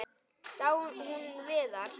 Sá hún Viðar?